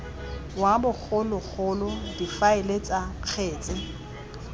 wa bogologolo difaele tsa kgetse